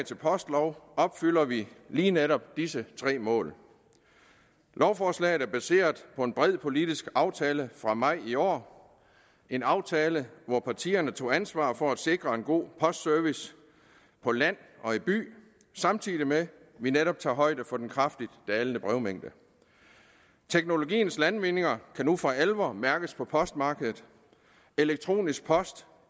til postlov opfylder vi lige netop disse tre mål lovforslaget er baseret på en bred politisk aftale fra maj i år en aftale hvor partierne tog ansvar for at sikre en god postservice på land og i by samtidig med at vi netop tager højde for den kraftigt dalende brevmængde teknologiens landvindinger kan nu for alvor mærkes på postmarkedet elektronisk post